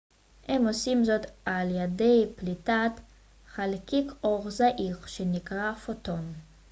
הם עושים זאת על ידי פליטת חלקיק אור זעיר שנקרא פוטון